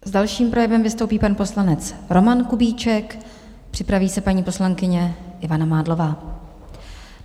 S dalším projevem vystoupí pan poslanec Roman Kubíček, připraví se paní poslankyně Ivana Mádlová.